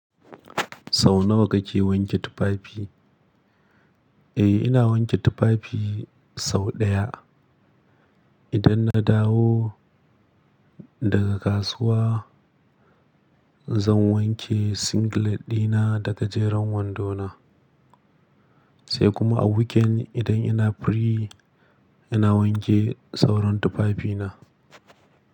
Sau nawa kake wanke tufafi? Eh, ina wanke tufafi sau ɗaya. Idan na dawo daga kasuwa zan wanke singlet dina da gajeren wando na. Sai kuma a weekend idan ina free ina wanke sauran tufafina.